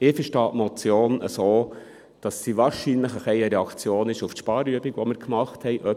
Ich verstehe die Motion so, dass sie wahrscheinlich ein bisschen eine Reaktion auf die Sparübung ist, die wir gemacht haben.